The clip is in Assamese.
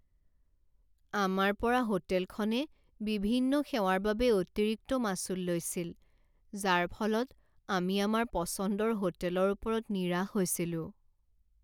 আমাৰ পৰা হোটেলখনে বিভিন্ন সেৱাৰ বাবে অতিৰিক্ত মাচুল লৈছিল যাৰ ফলত আমি আমাৰ পচন্দৰ হোটেলৰ ওপৰত নিৰাশ হৈছিলোঁ।